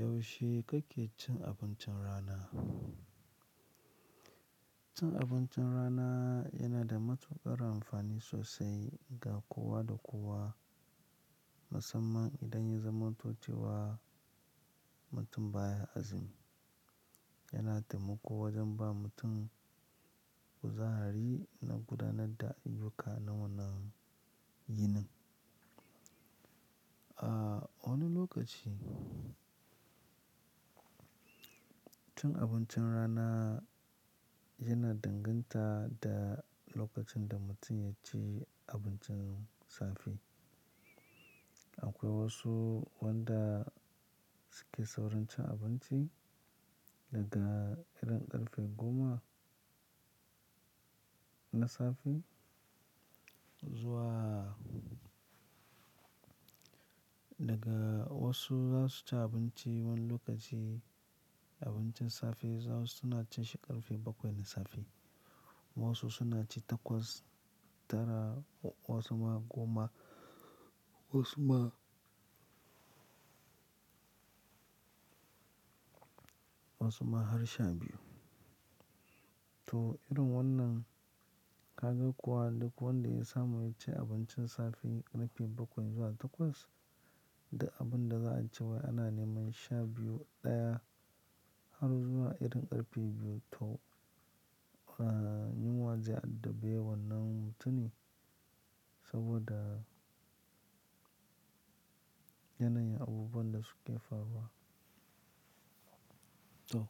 Yaushe kake cin abincin rana? Cin abincin rana yana da matuƙar amfani sosai ga kowa da kowa, musamman idan ya zama to cewa mutum baya azumi. Yana taimako wajen ba mutum kuzari na gudanar da ayyuka na wannan yini A wani lokaci cin abincin rana yana danganta da lokacin da mutum ya ci abincin safe. Akwai wasu wanda suke saurin cin abinci daga irin ƙarfe goma na safe zuwa daga wasu za su ci abinci wani lokaci abincin safe, wasu suna cin shi ƙarfe bakwai na safe, wasu suna ci takwas, tara ko kuma goma wansu ma har sha biyu. To, irin wannan ka ga kuwa duk wanda ya samu yaci abincin safe ƙarfe bakwai zuwa takwas, da abin da za a ci wai ana neman sha biyu, ɗaya har zuwa irin ƙarfe biyu. To, a yinwa zai addabe wannan mutumi saboda yanayin abubuwan da suke faruwa. To,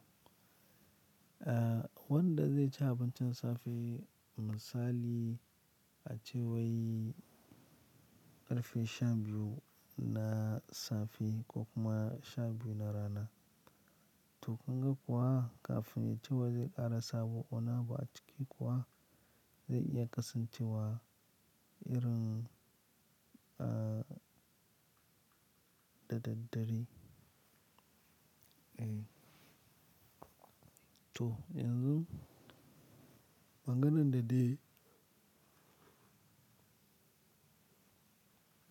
wanda zai ci abincin safe misali a cewai ƙarfe sha biyu na safe ko kuma sha biyu na rana. To, kun ga kuwa kafin ya ce wai zai ƙara sa, wani abu ciki kuwa zai iya kasancewa irin a da daddare. Eh. To, yanzu maganan da ɗai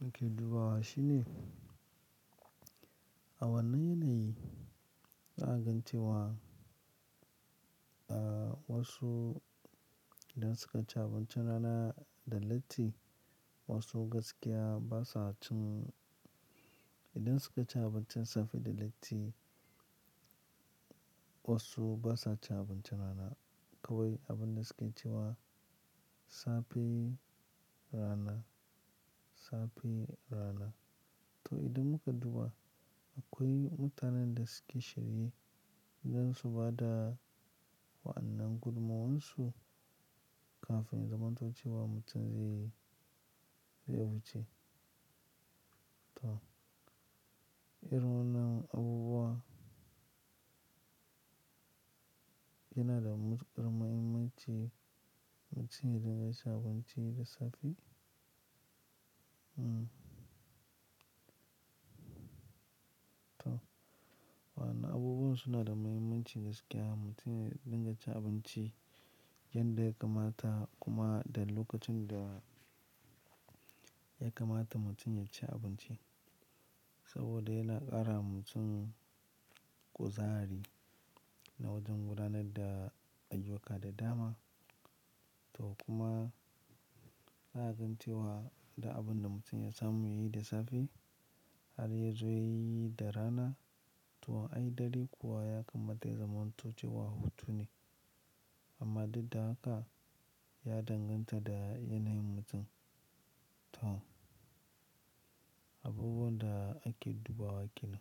muke dubawa shine a wannan yanayi za a gan wa a wasu idan suka ci abincin rana da latti, wasu gaskiya basa cin-- idan suka ci abincin safe da latti wasu basa cin abincin rana. Kawai abin da suke ciwa safe, rana, safe, rana. To, idan muka duba akwai mutanen da suke shirye don su ba da wa'annan gudumomarsu kafin zamantocewa mutum zai, zai wuce. To, irin wannan abubuwa yana da matuƙar mahimmanci mutum yayi rigacii abinci da safe? Hmm. To, waɗannan abubuwa suna da mahimmanci gaskiya mutum ya dinga cin abinci yanda ya kamata kuma da lokacin da ya kamata mutum ya ci abinci. Saboda yana ƙara mutum kuzari na wajen gudanar da ayyuka da dama. To, kuma za a gan wa da abin da mutum ya samu yayi da safe har ya zo yayi da rana. To, ai dare kuwa ya kammala zamantocewa hutu ne. Amma duk da haka ya danganta da yanayin mutum. To, abubuwan da ake dubawa kenan.